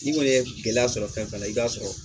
N'i kɔni ye gɛlɛya sɔrɔ fɛn fɛn la i b'a sɔrɔ